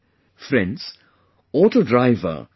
Friends, Auto Driver M